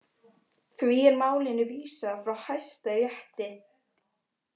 Því er málinu vísað frá Hæstarétti